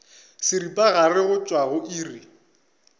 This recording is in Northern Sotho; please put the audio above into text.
seripagare go tšwa go iri